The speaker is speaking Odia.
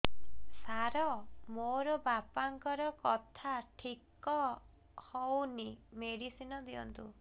ସାର ମୋର ବାପାଙ୍କର କଥା ଠିକ ହଉନି ମେଡିସିନ ଦିଅନ୍ତୁ